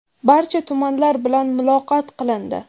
barcha tumanlar bilan muloqot qilindi.